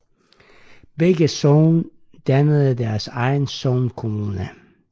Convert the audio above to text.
Begge sogne dannede deres egen sognekommune